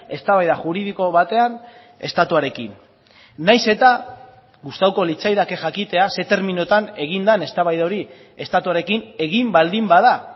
eztabaida juridiko batean estatuarekin nahiz eta gustatuko litzaidake jakitea ze terminotan egin den eztabaida hori estatuarekin egin baldin bada